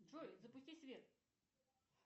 джой запусти свет